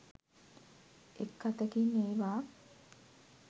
එක් අතකින් ඒවා